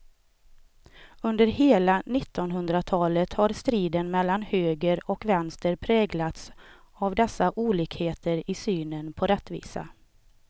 Under hela nittonhundratalet har striden mellan höger och vänster präglats av dessa olikheter i synen på rättvisa.